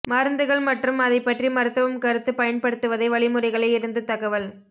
மருந்துகள் மற்றும் அதை பற்றி மருத்துவம் கருத்து பயன்படுத்துவதை வழிமுறைகளை இருந்து தகவல்